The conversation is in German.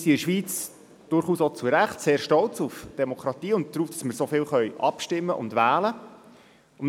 Wir sind in der Schweiz durchaus zu Recht stolz auf die Demokratie und darauf, dass wir so oft abstimmen und wählen können.